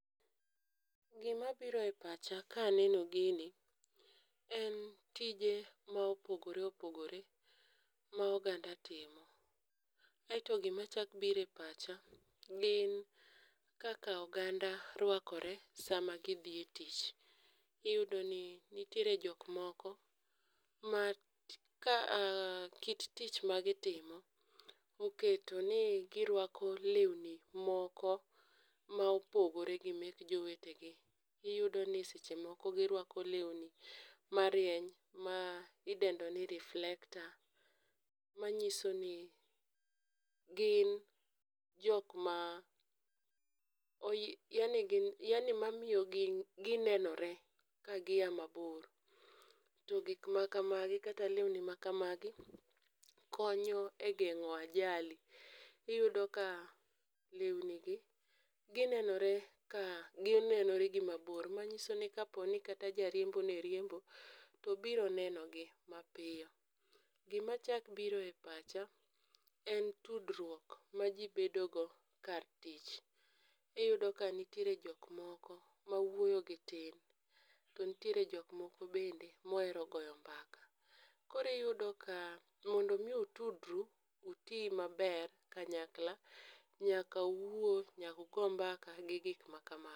Gima biro e pacha ka aneno gini en tije ma opogore opogore ma oganda timo. Aeto gima chako biro e pacha gin kaka oganda ruakore sama gidhi e tich. Iyudo ni nitiere jok moko ma kit tich magitimo oketo ni giruako lewni moko mopogore gi mek jowetegi. Iyudo ni seche moko giruako lewni marieny ma idendo ni reflector manyisoni gin jok ma oyie yani gi yaani mamiyo ginenore kaia mabor to gik makamagi kata lewni makamagi konyo e geng'o ajali iyudo ka lewnigi ginenore ka ginenore gi mabor manyiso ni kaponi kata jariembo ne riembo to ginenore mapiyo. Gima chako biro e pacha en tudruok maji bedogo kar tich. Iyudo ka nitiere jok moko mawuoy gi tin to nitiere jok moko bende mohero goyo mbaka. Koro iyudo ni mondo mi utudru, uti maber kanyakla nyaka uwuo nyaka ugo mbaka gi gik makamago.